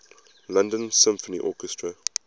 london symphony orchestra